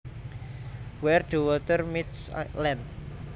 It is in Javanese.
Where the water meets land